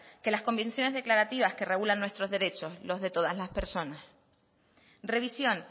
que las convenciones declarativas que regulan nuestros derechos los de todas las personas revisión